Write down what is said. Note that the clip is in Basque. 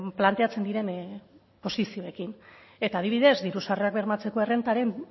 planteatzen diren posizioekin eta adibidez diru sarrerak bermatzeko errentaren